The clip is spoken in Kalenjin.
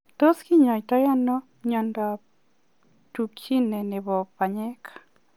Tos kinyaitoo anoo miondoop Duchene nepoo panyeek ?